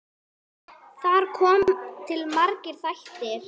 Þar koma til margir þættir.